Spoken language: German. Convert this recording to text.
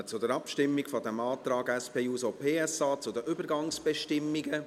Wir kommen zur Abstimmung über den Antrag der SP-JUSO-PSA zu den Übergangsbestimmungen.